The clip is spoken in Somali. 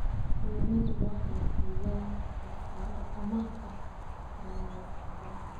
Kalluumaysigu waxay siiyaan fursado amaah ah kalluumaysatada.